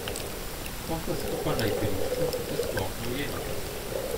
Ko sta skupaj na igrišču, se sploh ne ujameta.